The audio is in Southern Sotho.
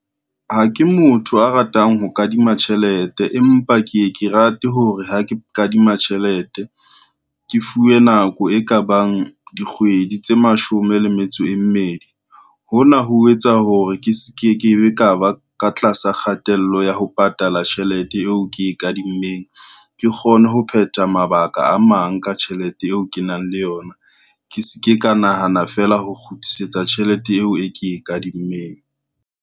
Ha ke motho a ratang ho kadima tjhelete, empa ke ye ke rate hore ha ke kadima tjhelete, ke fuwe nako e kabang dikgwedi tse mashome le metso e mmedi. Hona ho etsa hore ke se ke kebe ka ba ka tlasa kgatello ya ho patala tjhelete eo ke e kadimmeng, ke kgone ho phetha mabaka a mang ka tjhelete eo ke nang le yona, ke se ke ka nahana feela ho kgutlisetsa tjhelete eo e ke e kadimmeng.